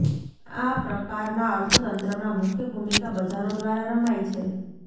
આ પ્રકારના અર્થતંત્રમાં મુખ્ય ભૂમિકા બજારો દ્વારા રમાય છે